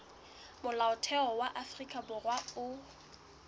molaotheo wa afrika borwa o